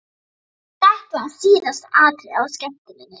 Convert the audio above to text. Þetta var síðasta atriðið á skemmtuninni!